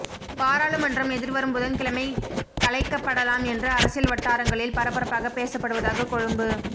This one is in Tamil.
பாராளுமன்றம் எதிர்வரும் புதன்கிழமை கலைக்கப்படலாம் என்று அரசியல் வட்டாரங்களில் பரபரப்பாகப் பேசப்படுவதாக கொழும்பு